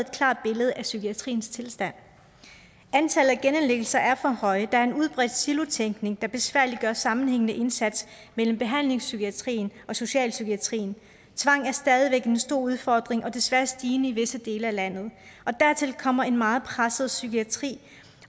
klart billede af psykiatriens tilstand antallet af genindlæggelser er for højt der er en udbredt silotænkning der besværliggør en sammenhængende indsats mellem behandlingspsykiatrien og socialpsykiatrien tvang er stadig væk en stor udfordring og desværre stigende i visse dele af landet dertil kommer en meget presset psykiatri